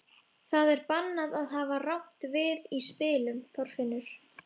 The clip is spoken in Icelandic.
Það er bannað að hafa rangt við í spilum, Þorfinnur.